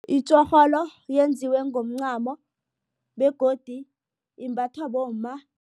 Itjorholo yenziwe ngomncamo begodu imbathwa bomma.